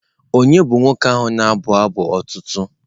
Ònye bụ nwoke ahụ na-abụ abụ otuto?